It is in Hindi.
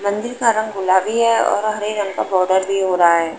मंदिर का रंग गुलाबी है और हरे रंग का बॉर्डर भी हो रहा है।